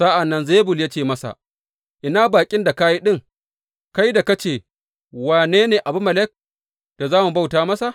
Sa’an nan Zebul ya ce masa, Ina bakin da ka yi ɗin, kai da ka ce, Wane ne Abimelek da za mu bauta masa.’